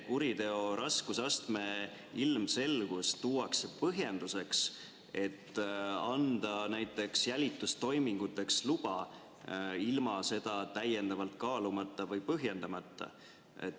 Kuriteo raskusastme ilmselgus tuuakse põhjenduseks, et anda näiteks jälitustoiminguteks luba, ilma seda täiendavalt kaalumata või põhjendamata.